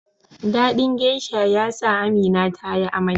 dadin geasha yasa Amina tayi amai